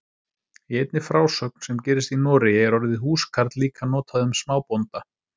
Í einni frásögn sem gerist í Noregi er orðið húskarl líka notað um smábónda.